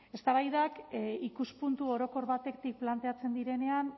eztabaidak ikuspuntu orokor batetik planteatzen direnean